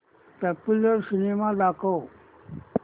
popular cinema दाखव